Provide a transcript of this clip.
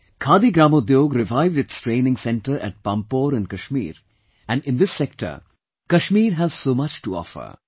Khadi Gramodyog revived its training centre at Pampore in Kashmir and in this sector Kashmir has so much to offer